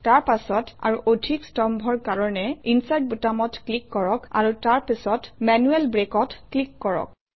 তাৰ পাছত আৰু অধিক স্তম্ভৰ কাৰণে ইনচাৰ্ট বুটামত ক্লিক কৰক আৰু তাৰ পাছত মেনুৱেল Break অত ক্লিক কৰক